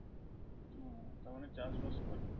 ও তার মানে চাষবাস করে?